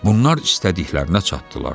Bunlar istədiklərinə çatdılar.